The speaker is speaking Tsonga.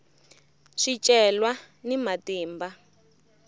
swicelwa ni matimba